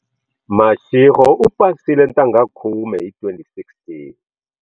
Mashego u pasile ntangha khume hi 2016.